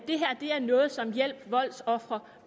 det her er noget som hjælp voldsofre